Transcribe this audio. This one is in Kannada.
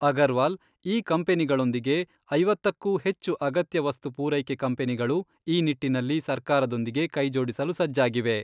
ಅಗರ್ವಾಲ್ ಈ ಕಂಪನಿಗಳೊಂದಿಗೆ ಐವತ್ತಕ್ಕೂ ಹೆಚ್ಚು ಅಗತ್ಯ ವಸ್ತು ಪೂರೈಕೆ ಕಂಪನಿಗಳು ಈ ನಿಟ್ಟಿನಲ್ಲಿ ಸರ್ಕಾರದೊಂದಿಗೆ ಕೈಜೋಡಿಸಲು ಸಜ್ಜಾಗಿವೆ.